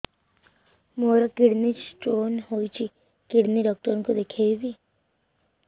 ମୋର kidney stone ହେଇଛି kidney doctor କୁ ଦେଖାଇବି